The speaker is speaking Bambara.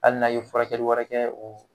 Hali n'a ye furakɛli wɛrɛ kɛ, o